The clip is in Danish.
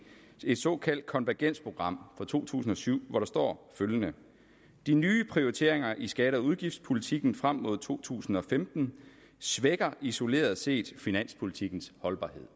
et såkaldt konvergensprogram for to tusind og syv hvor der står følgende de nye prioriteringer i skatte og udgiftspolitikken frem mod to tusind og femten svækker isoleret set finanspolitikkens holdbarhed